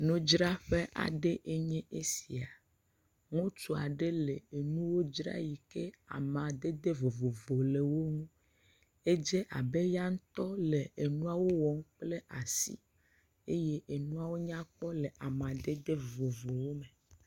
Nudzraƒe aɖe ye nye esia, ŋutsu aɖe le enuwo dzram eyi ke amadede vovovo le wo ŋu, edz abe ya ŋutɔ le enuawo wɔm kple asi, eye enuawo nyakpɔ le amadede vovovowo me.